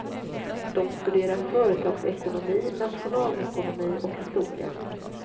De studerar företagsekonomi, nationalekonomi och historia.